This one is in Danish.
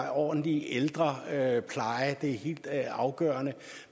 ordentlig ældrepleje det er helt afgørende